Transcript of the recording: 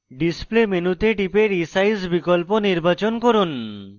display মেনুতে টিপে resize বিকল্প নির্বাচন করুন